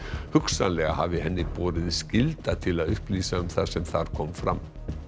hugsanlega hafi henni borið skylda til að upplýsa um það sem þar kom fram